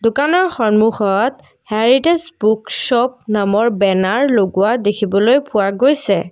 দোকানৰ সন্মুখত heritage book shop নামৰ বেনাৰ লগোৱা দেখিবলৈ পোৱা গৈছে।